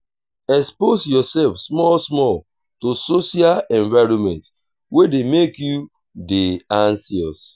expose yourself small small to social environment wey dey make you dey anxious